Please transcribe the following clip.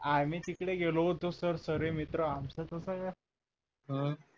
आम्ही तिकडं गेलो होतो सर सर्वे मित्र आमचं तस अं